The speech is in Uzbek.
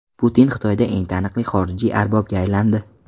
Putin Xitoyda eng taniqli xorijiy arbobga aylandi.